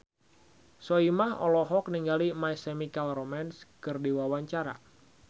Soimah olohok ningali My Chemical Romance keur diwawancara